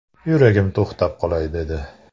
Yuragim to‘xtab qolay dedi.